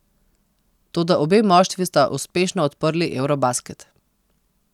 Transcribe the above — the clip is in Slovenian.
Toda obe moštvi sta uspešno odprli eurobasket.